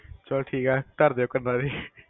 ਚਲੋ ਠੀਕ ਹੈ ਧਰ ਦਿਓ ਕੰਨਾ ਤੇੇ